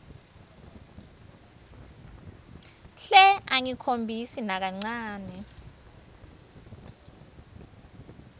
hle angakhombisi nakancane